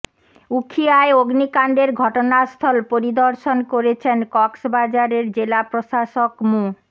উখিয়ায় অগ্নিকাণ্ডের ঘটনাস্থল পরিদর্শন করেছেন কক্সবাজারের জেলা প্রশাসক মো